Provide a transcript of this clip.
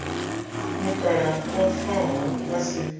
mukalaha o faho a si